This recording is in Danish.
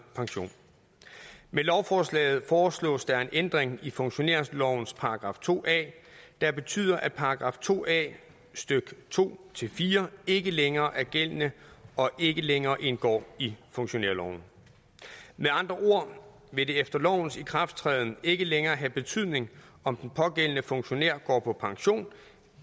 pension med lovforslaget foreslås der en ændring i funktionærlovens § to a der betyder at § to a stykke to fire ikke længere er gældende og ikke længere indgår i funktionærloven med andre ord vil det efter lovens ikrafttræden ikke længere have betydning om den pågældende funktionær går på pension